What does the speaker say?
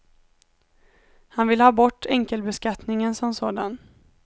Han vill ha bort enkelbeskattningen som sådan.